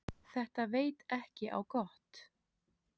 Þetta veit ekki á gott.